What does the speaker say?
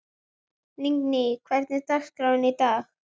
Lingný, hvernig er dagskráin í dag?